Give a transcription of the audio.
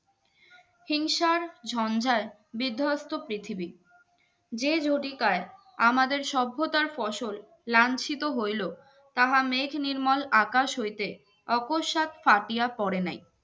হিংসার ঝনঝাল বিদ্ধস্ত পৃথিবী যে জটিকাই আমাদের সভ্যতার ফসল লাংসিত হইলো থাকা মেঘ নির্মল আকাশ হইতে দারস্ত ফাটিয়া পরে নাই